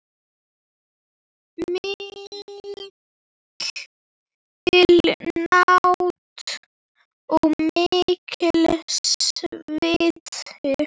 Mikil nánd og mikill sviti.